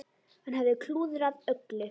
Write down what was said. Hann hafði klúðrað öllu.